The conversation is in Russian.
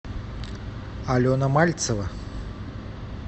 алена мальцева